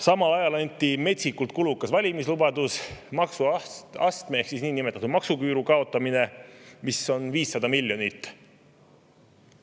Samal ajal anti metsikult kulukas valimislubadus: maksuastme ehk niinimetatud maksuküüru kaotamine, mis 500 miljonit.